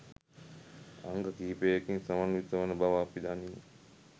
අංග කිහිපයකින් සමන්විත වන බව අපි දනිමු.